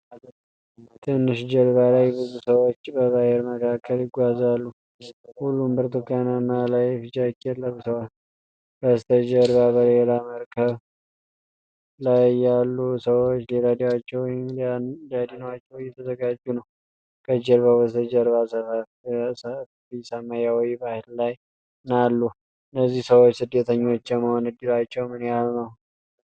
ትንሽ ጀልባ ላይ ብዙ ሰዎች በባህር መካከል ይጓዛሉ። ሁሉም ብርቱካንማ ላይፍ ጃኬት ለብሰዋል። በስተጀርባ በሌላ መርከብ ላይ ያሉ ሰዎች ሊረዷቸው ወይም ሊያድኗቸው እየተዘጋጁ ነው። ከጀልባው በስተጀርባ ሰፊሰማያዊ ባህር እና ሰማይ አሉ። እነዚህ ሰዎች ስደተኞች የመሆን እድላቸው ምን ያህል ነው?